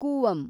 Cooum